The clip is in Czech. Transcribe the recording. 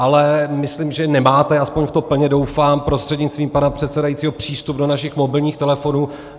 Ale myslím, že nemáte, aspoň v to plně doufám, prostřednictvím pana předsedajícího, přístup do našich mobilních telefonů.